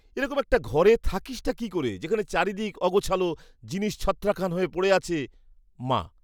এরকম একটা ঘরে থাকিসটা কী করে যেখানে চারিদিক অগোছালো, জিনিস ছত্রাখান হয়ে পড়ে আছে! মা